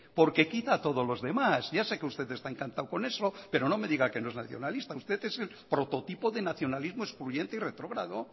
porque quita a todos los demás ya sé que usted está encantado con eso pero no me diga que no es nacionalista usted es el prototipo de nacionalismo excluyente y retrógrado